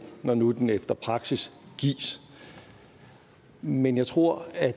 når nu den efter praksis gives men jeg tror at